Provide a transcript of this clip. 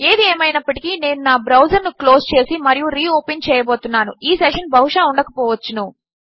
ఏది ఏమైనప్పటికీ నేను నా బ్రౌసర్ ను క్లోజ్ చేసి మరియు రీ ఓపెన్ చేయబోతున్నాను ఈ సెషన్ బహుశా ఉండక పోవచ్చును